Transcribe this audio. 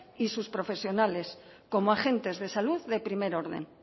y sus profesionales como agentes de salud de primer orden